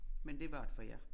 Men det var det for jer